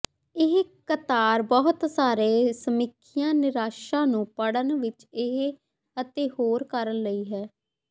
ਇਹ ਕਤਾਰ ਬਹੁਤ ਸਾਰੇ ਸਮੀਖਿਆ ਨਿਰਾਸ਼ਾ ਨੂੰ ਪੜ੍ਹਨ ਵਿਚ ਇਹ ਅਤੇ ਹੋਰ ਕਾਰਨ ਲਈ ਹੈ